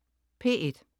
P1: